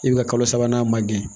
I bɛ ka kalo sabanan manden